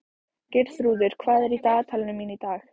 Geirþrúður, hvað er í dagatalinu mínu í dag?